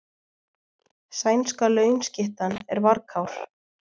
Sænska launskyttan er varkár